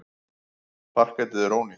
Parketið er ónýtt.